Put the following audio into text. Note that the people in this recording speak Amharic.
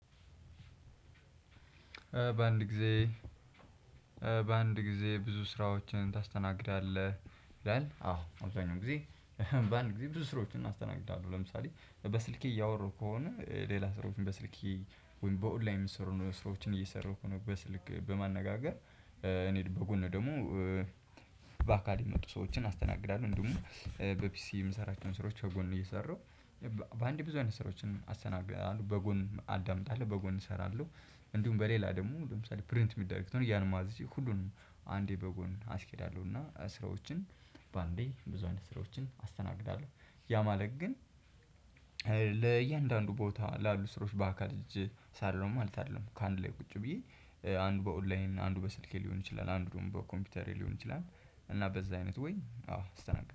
በአንድ ጊዜ እ በአንድ ጊዜ ብዙ ስራዎችን ታስተናግዳለህ? ይላል አዎ አብዛኛው ጊዜ እህ በአንድ ጊዜ ብዙ ስራዎችን እናስተናግዳለሁ። ለምሳሌ በስልኬ እያወራሁ ከሆነ ሌላ ስራዎችን በስልኬ በኦንላይን የሚሰሩ ስራዎችን እየሰሩ ከሆነ በስልክ በማነጋገር እ እኔ በጎን ደግሞ እ በአካል የመጡ ሰዎችን አስተናግዳለሁ። እንደውም በፒሲ የምሰራቸውን ስራዎች በጎን ነው እየሰራሁ በአንዴ ብዙ አይነት ስራዎችን አስተናግዳለሁ በጎን አዳምጣለሁ በጎን እሰራለሁ። እንዲሁም በሌላ ደግሞ ለምሳሌ ፕሪንት የሚደረግ ከሆነ እያልን ማዘዝ ሁሉንም አንዴ በጎን አስኬዳለሁ። እና እ ስራዎችን በአንዴ ብዙ አይነት ስራዎችን አስተናግዳለሁ። ያ ማለቅ ግን እ ለእያንዳንዱ ቦታ ላሉ ስሮች በአካል ሄጄ እስራለው ማለት አይደለም። ከአንድ ላይ ቁጭ ብዬ እ አንድ በኦንላይን አንድ በስልኬ ሊሆን ይችላል አንዱን በኮምፒውተሬ ሊሆን ይችላል። እና በዛ አይነት ወይ አዎ አስተናግዳለሁ